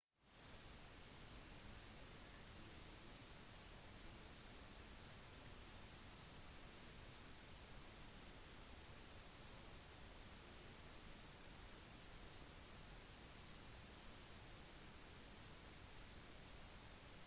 når man lager en dvd vil ytterkantene mest sannsynlig bli kuttet bort og hvis videoen har undertekster for nær bunnen vil de ikke bli fullstendig vist